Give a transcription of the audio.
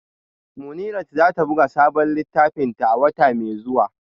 Munirat za ta buga sabon littafinta a wata mai zuwa